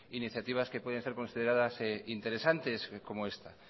iniciativas que pueden ser consideradas interesantes como esta